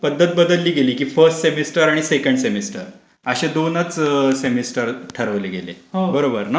पध्दत बदलली गेली. फर्स्ट सेमेस्टर आणि सेकंड सेमेस्टर असे दोनच सेमेस्टर ठरवले गेले. बरोबर ना?